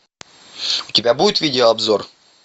у тебя будет видеообзор